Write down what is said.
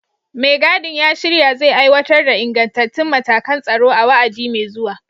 Mai gadin ya shirya zai aiwatar da ingantattun matakan tsaro a wa'adi mai zuwa.